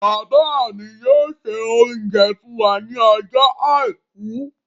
Bàbá mi yóò se oúnjẹ fún wa ní ọjọ́ àìkú.